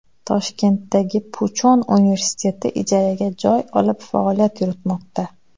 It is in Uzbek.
Toshkentdagi Puchon universiteti ijaraga joy olib faoliyat yuritmoqda.